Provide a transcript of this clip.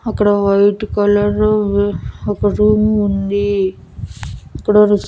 అక్కడ white colour ఒక room ఉంది ఇక్కడ రీస్--